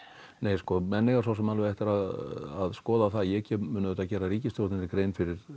nei sko menn eiga svo sem alveg eftir að skoða það ég mun auðvitað gera ríkisstjórninni grein fyrir